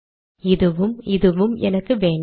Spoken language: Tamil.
இதுவும் இதுவும் எனக்கு வேண்டாம்